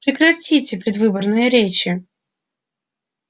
прекратите предвыборные речи